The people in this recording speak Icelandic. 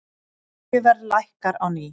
Olíuverð lækkar á ný